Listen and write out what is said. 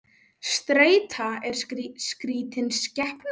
Streita er skrítin skepna.